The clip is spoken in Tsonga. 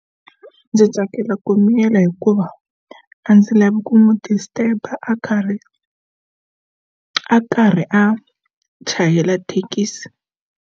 Ndzi tsakela ku miyela hikuva a ndzi lavi ku n'wi disturb a karhi a karhi a chayela thekisi.